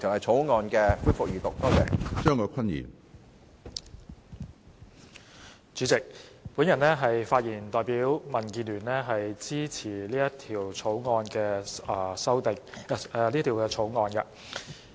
主席，我發言代表民主建港協進聯盟支持《2017年銀行業條例草案》。